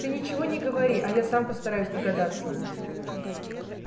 ты ничего не говори а я сам постараюсь догадаться